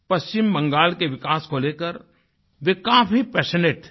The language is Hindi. पश्चिम बंगाल के विकास को लेकर वे काफ़ी पैशनेट थे